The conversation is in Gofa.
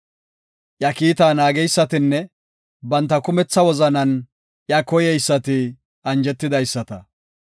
Iya kiitaa naageysatinne banta kumetha wozanan iya koyeysati anjetidaysata.